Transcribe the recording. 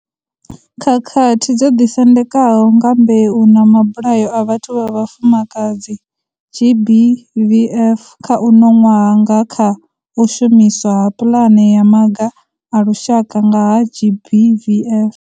Khakhathi dzo Ḓisendekaho nga Mbeu na Mabulayo a Vhathu vha Vhafumakadzi GBVF kha uno ṅwaha nga kha u shumiswa ha Pulane ya Maga a Lushaka nga ha GBVF.